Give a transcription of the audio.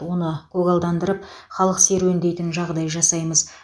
оны көгалдандырып халық серуендейтін жағдай жасаймыз